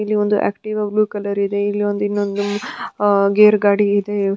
ಇಲ್ಲಿ ಒಂದು Activa blue colour ಇದೆ ಇನ್ನೊಂದು ಅ ಗೇರ್ ಗಾಡಿ ಇದೆ.